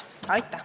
Aitäh!